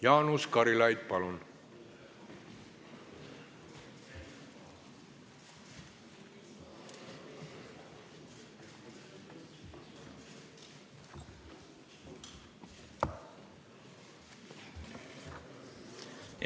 Jaanus Karilaid, palun!